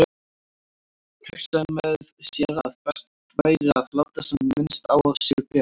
Hún hugsaði með sér að best væri að láta sem minnst á sér bera.